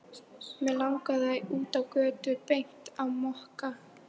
Mig langaði út á götu og beint á Mokka.